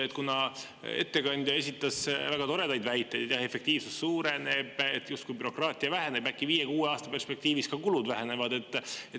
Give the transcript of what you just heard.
Ettekandja esitas väga toredaid väiteid, et efektiivsus suureneb ja justkui bürokraatia väheneb, äkki viie-kuue aasta perspektiivis kulud vähenevad.